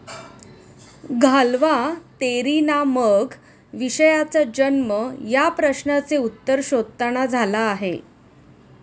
घालवा तेरी ना मग विषयाचा जन्म या प्रश्नांचे उत्तर शोधताना झाला आहे